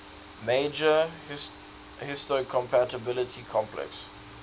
major histocompatibility complex